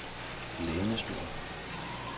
lænestol